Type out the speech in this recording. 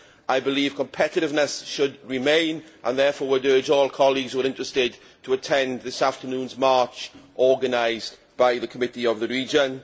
I believe competitiveness should be maintained, and would therefore urge all colleagues who are interested to attend this afternoon's march, organised by the Committee of the Regions.